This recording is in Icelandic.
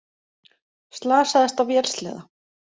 Slasaðist á vélsleða